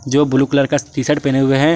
जो blue colour का T-shirt पहने हुए हैं।